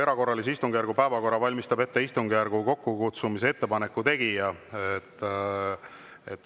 Erakorralise istungjärgu päevakorra valmistab ette istungjärgu kokkukutsumise ettepaneku tegija.